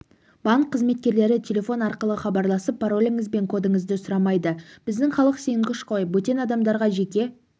банк қызметкерлері телефон арқылы хабарласып пароліңіз бен кодыңызды сұрамайды біздің халық сенгіш қой бөтен адамдарға жеке